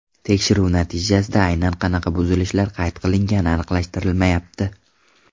Tekshiruv natijasida aynan qanaqa buzilishlar qayd qilingani aniqlashtirilmayapti.